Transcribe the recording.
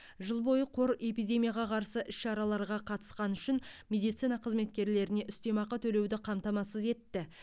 жыл бойы қор эпидемияға қарсы іс шараларға қатысқаны үшін медицина қызметкерлеріне үстемақы төлеуді қамтамасыз етті